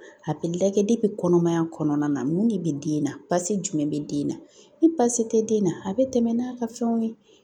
A bɛ lajɛ kɔnɔmaya kɔnɔna na mun de bɛ den na baasi jumɛn bɛ den na ni baasi tɛ den na a bɛ tɛmɛ n'a ka fɛnw ye